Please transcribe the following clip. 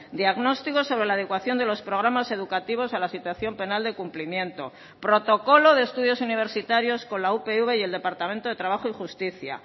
diagnóstico sobre la adecuación de los programas educativos a la situación penal de cumplimiento protocolo de estudios universitarios con la upv y el departamento de trabajo y justicia